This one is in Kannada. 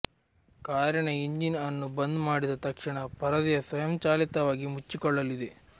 ಕಾರಿನ ಎಂಜಿನ್ ಅನ್ನು ಬಂದ್ ಮಾಡಿದ ತಕ್ಷಣ ಪರದೆ ಸ್ವಯಂಚಾಲಿತವಾಗಿ ಮುಚ್ಚಿಕೊಳ್ಳಲಿದೆ